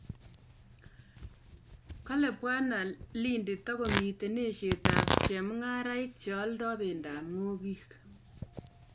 kale bwana Lindi togomiten esheet ap chemuingaraik che alda pendop ngogiik